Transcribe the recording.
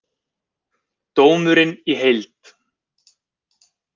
Dómurinn í heild